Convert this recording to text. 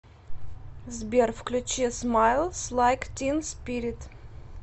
сбер включи смайлс лайк тин спирит